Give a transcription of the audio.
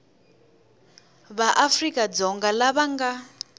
va afrika dzonga lava nga